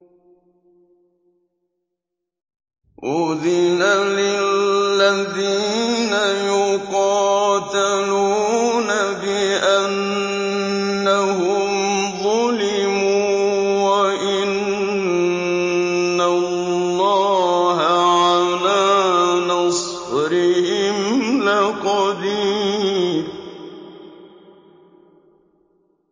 أُذِنَ لِلَّذِينَ يُقَاتَلُونَ بِأَنَّهُمْ ظُلِمُوا ۚ وَإِنَّ اللَّهَ عَلَىٰ نَصْرِهِمْ لَقَدِيرٌ